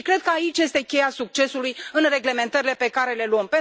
Și cred că aici este cheia succesului în reglementările pe care le luăm.